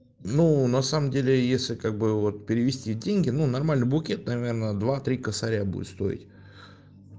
ну на самом деле если как бы вот перевести деньги ну нормальный букет наверное два три косаря будет стоить